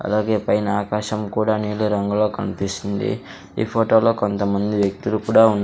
అలాగే పైన ఆకాశం కూడా నీలీ రంగులో కనిపిస్తుంది ఈ ఫోటోలో కొంతమంది వ్యక్తులు కూడా ఉన్.